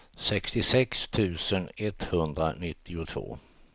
sextiosex tusen etthundranittiotvå